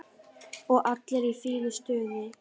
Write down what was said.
Og allir í fínu stuði.